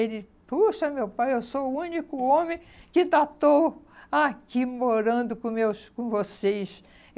Ele... Puxa, meu pai, eu sou o único homem que ainda estou aqui morando com meus com vocês.